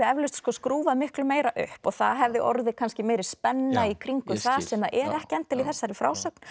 eflaust skrúfað miklu meira upp og það hefði orðið kannski meiri spenna í kringum það sem er ekki endilega í þessari frásögn